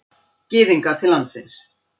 Gyðinga til landsins.